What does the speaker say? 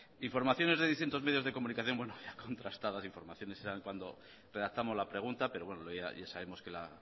informaciones de distintos medios de comunicación bueno ya contrastadas informaciones eran cuando redactamos la pregunta pero bueno ya sabemos que la